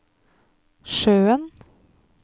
sjøen